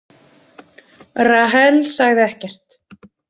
Rahel sagði ekkert.